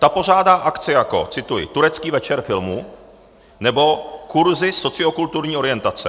Ta pořádá akce jako - cituji: Turecký večer filmu nebo Kurzy sociokulturní orientace.